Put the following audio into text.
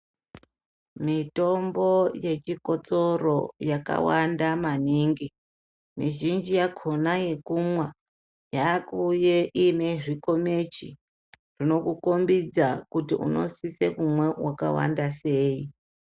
Mitombo yechikotsoro yakawanda maningi mizhinji yakhona yekumwa yakuuye ine zvikomichi zvinokukombidza kuti unosise kumwa wakawanda sei.